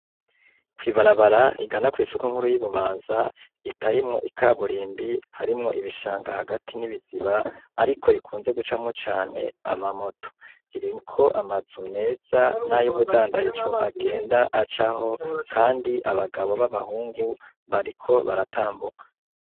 Kw'ibarabara rigana kw'isoko nkuru y'Ibubanza ritarimwo ikaburimbi, harimwo ibishanga hagati ni ibiziba, ariko rikunze gucamwo cane ama moto. Ririko amazu meza n'ayubundandaji agenda acaho kandi abagabo b'abahungu bariko baratambuka.